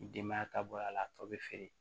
Ni denbaya ta bɔ a la a tɔ bɛ feere